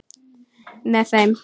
Með þeim